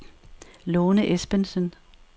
Lone Esbensen